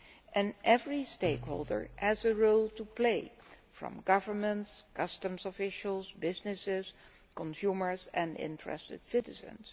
And every stakeholder has a role to play from governance to customs officials, businesses, consumers and interested citizens.